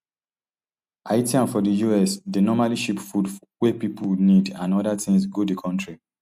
haitians for di us dey normally ship food wey pipo need and oda tins go di kontri